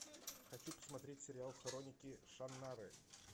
хочу посмотреть сериал хроники шаннары